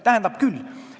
Tähendab küll.